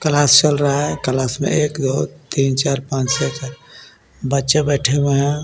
Class चल रहा है क्लास में एक दो तीन चार पांच छे सात बच्चे बैठे हुए हैं.